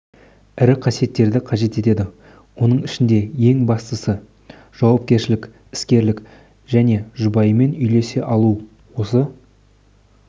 ірі қасиеттерді қажет етеді оның ішінде ең бастысы жауапкершілік іскерлік және жұбайымен үйлесе алу осы